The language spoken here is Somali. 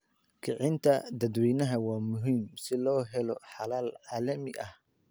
Kicinta dadweynaha waa muhiim si loo helo xalal caalami ah.